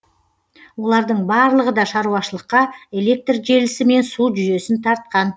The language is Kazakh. олардың барлығы да шаруашылыққа электр желісі мен су жүйесін тартқан